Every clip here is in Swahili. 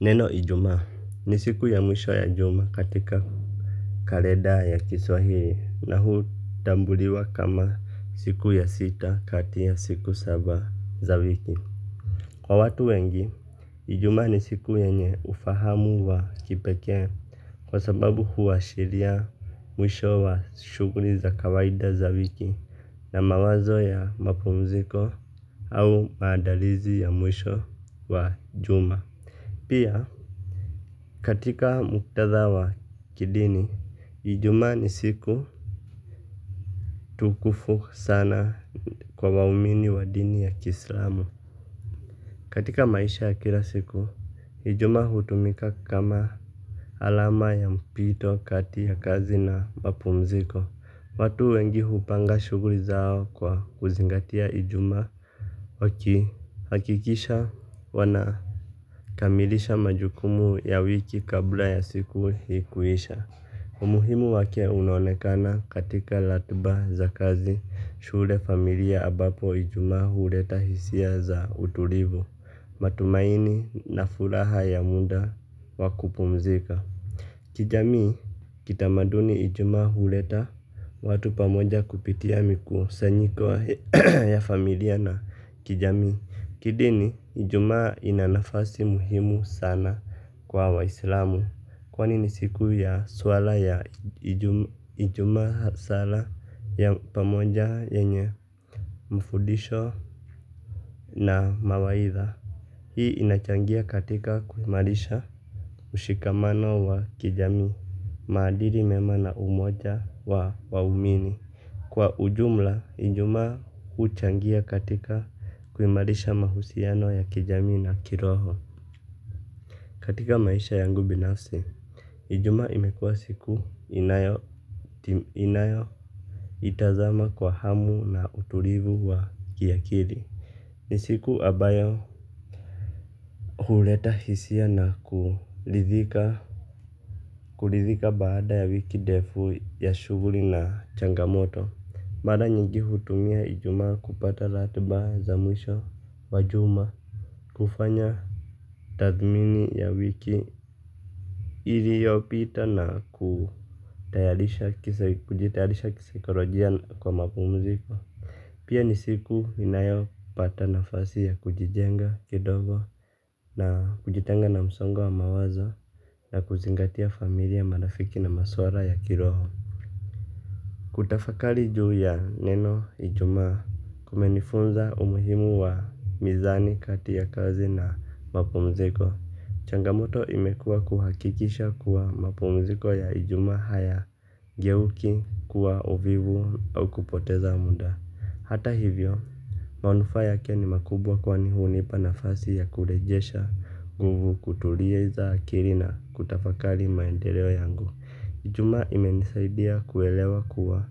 Neno Ijumaa ni siku ya mwisho ya juma katika kalenda ya Kiswahili na hutambuliwa kama siku ya sita kati ya siku saba za wiki. Kwa watu wengi, Ijumaa ni siku yenye ufahamu wa kipekee kwa sababu huashiria mwisho wa shughuli za kawaida za wiki. Na mawazo ya mapumziko au maandalizi ya mwisho wa juma pia. Katika muktadha wa kidini, Ijumaa ni siku tukufu sana kwa waumini wa dini ya kiislamu. Katika maisha ya kila siku, Ijumaa hutumika kama alama ya mpito kati ya kazi na mapumziko. Watu wengi hupanga shughuli zao kwa kuzingatia Ijumaa. Wakihakikisha wanakamilisha majukumu ya wiki kabla ya siku hiyo kuisha. Umuhimu wake unaonekana katika ratiba za kazi, shule, familia, ambapo Ijumaa huleta hisia za utulivu, matumaini na furaha ya muda wa kupumzika. Kijamii, kitamaduni. Ijumaa huleta watu pamoja kupitia mikusanyiko ya familia na kijamii. Kidini, Ijumaa ina nafasi muhimu sana kwa waislamu. Kwa nini siku ya swala ya ijumaa, sala ya pamoja yenye mafundisho na mawaidha. Hii inachangia katika kuimarisha ushikamano wa kijamii. Maadili mema na umoja wa waumini. Kwa ujumla, Ijumaa huchangia katika kuimarisha mahusiano ya kijamii na kiroho. Katika maisha yangu binafsi, Ijumaa imekuwa siku ninayoitazama kwa hamu na utulivu wa yakini. Ni siku ambayo huleta hisia na kuridhika baada ya wiki ndefu ya shughuli na changamoto. Mara nyingi hutumia Ijumaa kupata ratiba za mwisho wa juma. Kufanya tathmini ya wiki iliyopita na kujitayarisha kisaikolojia kwa mapumziko. Pia ni siku ninayopata nafasi ya kujijenga kidogo, kujitenga na msongo wa mawazo, na kuzingatia familia, marafiki na masuala ya kiroho. Kutafakari juu ya neno Ijumaa kumenifunza umuhimu wa mizani kati ya kazi na mapumziko. Changamoto imekuwa kuhakikisha kuwa mapumziko ya Ijumaa hayageuki kuwa uvivu au kupoteza muda. Hata hivyo, manufaa yake ni makubwa kwani hunipa nafasi ya kurejesha nguvu, kutuliza akili na kutafakari maendeleo yangu. Ijumaa imenisaidia kuelewa kuwa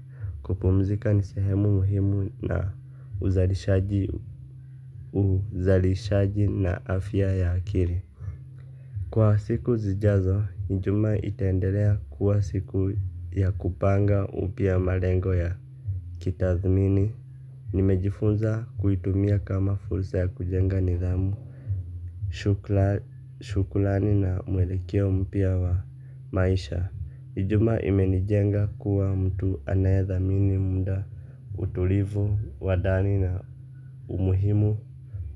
kupumzika ni sehemu muhimu ya uzalishaji na afya ya akili. Kwa siku zijazo, Ijumaa itaendelea kuwa siku ya kupanga upya malengo ya kitaaluma. Nimejifunza kuitumia kama fursa ya kujenga nidhamu. Shukrani na mwelekeo mpya wa maisha. Ijumaa imenijenga kuwa mtu anayethamini muda, utulivu, wa ndani na umuhimu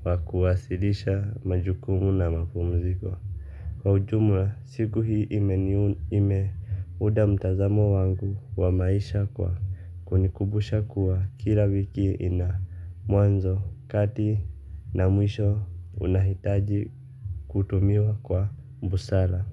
wa kusawazisha majukumu na mapumziko. Kwa ujumla, siku hii imeunda mtazamo wangu wa maisha kwa kunikumbusha kuwa kila wiki ina mwanzo, kati na mwisho unaohitaji kutumiwa kwa busara.